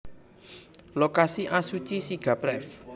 Lokasi Azuchi Shiga Pref